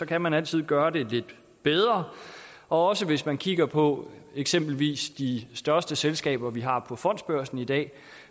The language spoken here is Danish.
kan man altid gøre det lidt bedre og hvis man kigger på eksempelvis de største selskaber vi har på fondsbørsen i dag